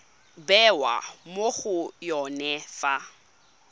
bewa mo go yone fa